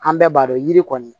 An bɛɛ b'a dɔn yiri kɔni